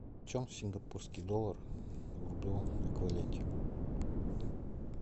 почем сингапурский доллар в рублевом эквиваленте